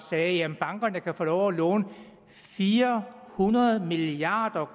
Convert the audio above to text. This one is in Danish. sagde at bankerne umiddelbart kan få lov at låne fire hundrede milliard